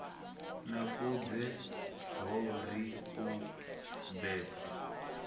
nakudze ho ri u bebwa